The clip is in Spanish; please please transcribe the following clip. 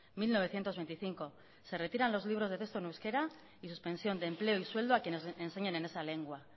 mil novecientos veinticinco se retiran los libros de texto en euskera y suspensión de empleo y sueldo a quienes enseñen en esa lengua